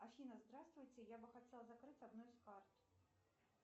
афина здравствуйте я бы хотела закрыть одну из карт